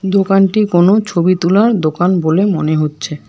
দোকানটি কোনো ছবি তোলার দোকান বলে মনে হচ্ছে।